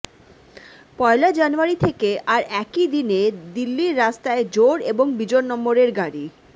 পয়লা জানুয়ারি থেকে আর একই দিনে দিল্লির রাস্তায় জোড় এবং বিজোড় নম্বরের গাড়ি